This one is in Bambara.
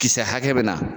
Kisɛ hakɛ bɛ na